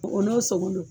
O n'o sogo don